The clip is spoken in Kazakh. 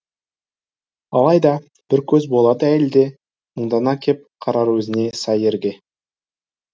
алайда бір көз болады әйелде мұңдана кеп қарар өзіне сай ерге